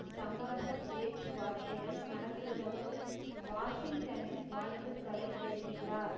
சமரச பேச்சுவார்த்தைகள் நடத்துவதற்கு வாஷிங்டனின் வாழ்த்துக்களை தெரிவித்தார்